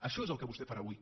això és el que vostè farà avui